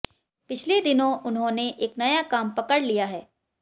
पिछले दिनों उन्होंने एक नया काम पकड़ लिया है